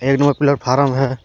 एक number platform है।